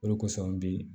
O de kosɔn an bi